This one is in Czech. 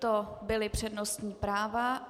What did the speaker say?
To byla přednostní práva.